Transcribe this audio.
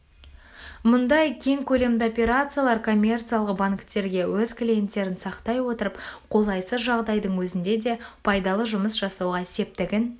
мұндай кең көлемді операциялар коммерциялық банктерге өз клиенттерін сақтай отырып қолайсыз жағдайдың өзінде де пайдалы жұмыс жасауға септігін